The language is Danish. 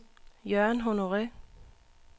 Jørgen Honore